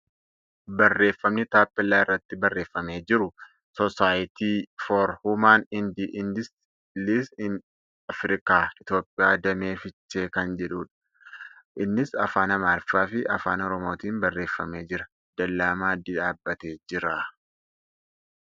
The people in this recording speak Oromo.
Barreeffamni taappeella irratti barreeffamee jiru ' Soosaayitii for Wuuman ende Eedsii Iin Afrikaa , Itiyoophiyaa Damee Fiichee ' kan jedhuudha. Innis Afaan Amaariffaa fi Afaan Oromootiin barreeffamee jira. Dallaa maddii dhaabbatee jira.